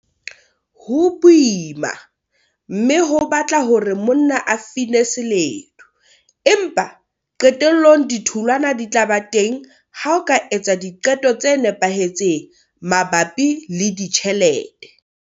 Ho boima, mme ho batla hore monna a fine seledu, empa qetellong ditholwana di tla ba teng ha o ka etsa diqeto tse nepahetseng mabapi le ditjhelete.